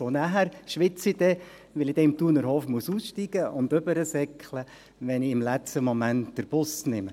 Und dann schwitze ich, weil ich im Thunerhof aussteigen und hinüberrennen muss, wenn ich im falschen Moment den Bus nehme.